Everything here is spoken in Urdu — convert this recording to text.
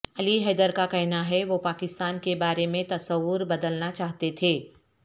علی حیدر کا کہنا ہے وہ پاکستان کے بارے میں تصور بدلنا چاہتے تھے